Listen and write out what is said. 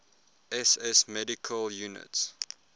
ss medical units